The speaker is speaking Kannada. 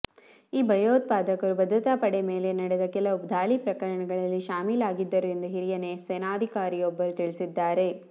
ಈ ಭಯೋತ್ಪಾದಕರು ಭದ್ರತಾ ಪಡೆ ಮೇಲೆ ನಡೆದ ಕೆಲವು ದಾಳಿ ಪ್ರಕರಣಗಳಲ್ಲಿ ಶಾಮೀಲಾಗಿದ್ದರು ಎಂದು ಹಿರಿಯ ಸೇನಾಧಿಕಾರಿಯೊಬ್ಬರು ತಿಳಿಸಿದ್ದಾರೆ